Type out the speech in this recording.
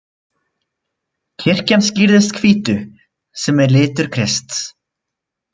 Kirkjan skrýðist hvítu, sem er litur Krists.